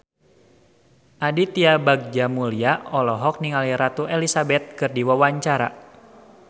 Aditya Bagja Mulyana olohok ningali Ratu Elizabeth keur diwawancara